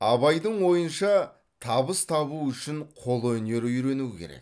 абайдың ойынша табыс табу үшін қолөнер үйрену керек